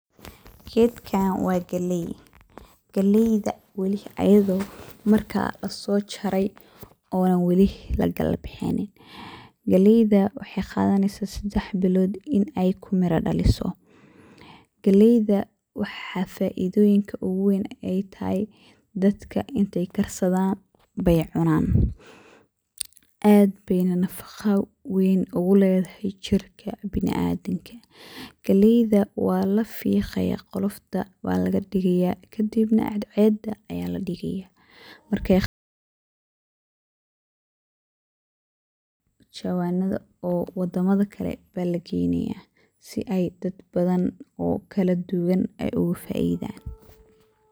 Gedkan wa galey. Galeyga ayado marka lasojaray ona wali lakalabixin, galeyda wexey qadaneysa sadex bilod in ey kumira dhaliso. Galeyda waxa faidada oguwen ey tahay dadka intey karsadanayey cunaan aad ayey nafaqo ween oguledahay jirka biniadanka, galeyda walafiqaya kadibna cadceeda aya ladigaya markey qalasho aya jawanada luguguraya oo wadama kale aya lageynaya sii ey dadka kale ogafaidan.